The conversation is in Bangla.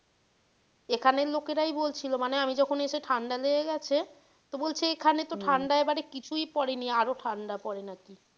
এখানের লোকেরাই বলছিল মানে আমি যখন এসে ঠাণ্ডা লেগে গেছে তো বলছে এখানে তো ঠাণ্ডা এবারে কিছুই পড়েনি আরও ঠাণ্ডা পড়ে নাকি।